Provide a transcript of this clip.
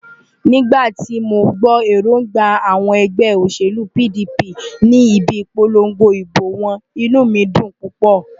Nígbà tí mo gbọ́ èróńgbà àwọn ẹgbẹ́ òṣèlú PDP ní ibi ìpolongo ìbò wọn, inú mi dùn púpọ̀.